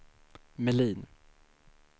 Melin